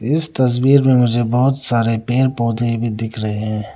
इस तस्वीर में मुझे बहुत सारे पेड़ पौधे भी दिख रहे हैं।